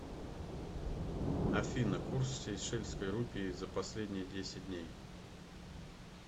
афина курс сейшельской рупии за последние десять дней